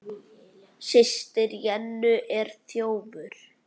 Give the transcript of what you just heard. Systir Jennu er þjófur.